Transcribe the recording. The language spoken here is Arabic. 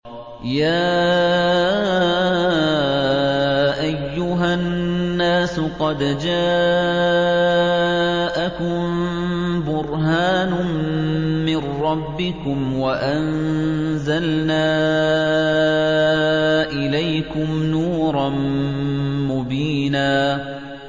يَا أَيُّهَا النَّاسُ قَدْ جَاءَكُم بُرْهَانٌ مِّن رَّبِّكُمْ وَأَنزَلْنَا إِلَيْكُمْ نُورًا مُّبِينًا